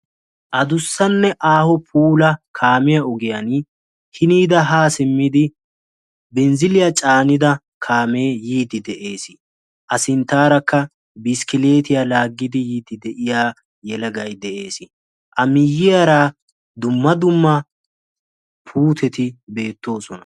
Adussannne aaho puulaa kaamiyaa ogiyaan hiniira haa simmidi binziliyaa caanida kaamee yiiddi de'ees. a sinttaarakka bisikilitiyaa laaggidi yiidi de'iyaa yelagay de'ees. a miyiyaara dumma dumma puutetti beettoosona.